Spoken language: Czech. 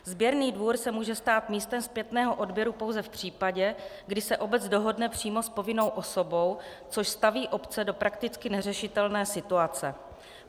Sběrný dvůr se může stát místem zpětného odběru pouze v případě, kdy se obec dohodne přímo s povinnou osobou, což staví obce do prakticky neřešitelné situace.